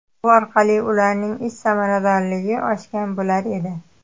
Bu orqali ularning ish samaradorligi oshgan bo‘lar edi.